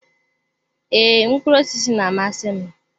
Ee, mkpụrụ osisi na-amasị m.